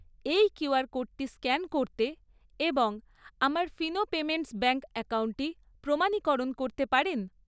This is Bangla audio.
এই কিউআর কোডটি স্ক্যান করতে এবং আমার ফিনো পেমেন্টস ব্যাঙ্ক অ্যাকাউন্টটি প্রমাণীকরণ করতে পারেন?